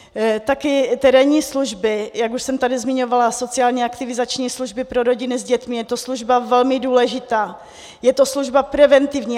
Také terénní služby, jak už jsem tady zmiňovala, sociálně aktivizační služby pro rodiny s dětmi, je to služba velmi důležitá, je to služba preventivní.